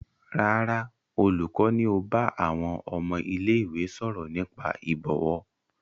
Rárá, olùkọ́ ni ó bá àwọn ọmọ ilé-ìwé sọ̀rọ̀ nípa ìbọ̀wọ̀.